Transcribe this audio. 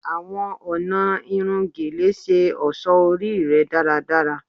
Awọn ọna irun Gele ṣe ọṣọ ori rẹ daradara